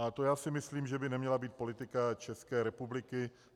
A to já si myslím, že by neměla být politika České republiky.